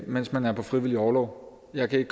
mens man er på frivillig orlov jeg kan